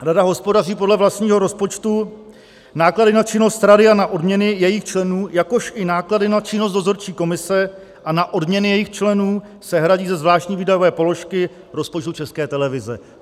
Rada hospodaří podle vlastního rozpočtu, náklady na činnost rady a na odměny jejích členů, jakož i náklady na činnost dozorčí komise a na odměny jejích členů se hradí ze zvláštní výdajové položky rozpočtu České televize.